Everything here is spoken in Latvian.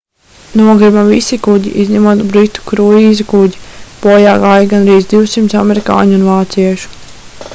nogrima visi kuģi izņemot britu kruīza kuģi bojā gāja gandrīz 200 amerikāņu un vāciešu